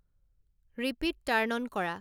repeat turn on কৰা